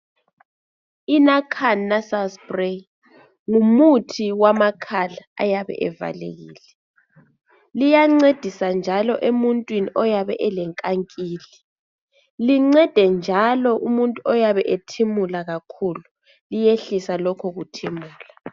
INarcan nasal spray ngumuthi wamakhala ayabe evalekile. Liyancedisa njalo emuntwini oyabe elenkankili, lincede njalo umuntu oyabe ethimula kakhulu, liyehlisa lokhu kuthimula.